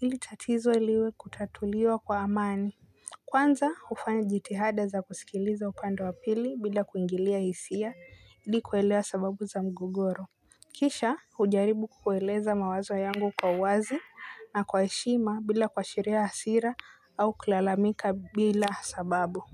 ili tatizo liwe kutatuliwa kwa amani. Kwanza hufanya jitihada za kusikiliza upande wa pili bila kuingilia hisia ili kuelewa sababu za mgogoro. Kisha hujaribu kueleza mawazo yangu kwa uwazi na kwa heshima bila kuashiria hasira au kulalamika bila sababu.